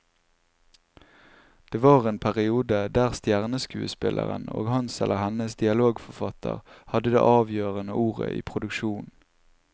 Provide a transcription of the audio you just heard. Det var en periode der stjerneskuespilleren og hans eller hennes dialogforfatter hadde det avgjørende ordet i produksjonen.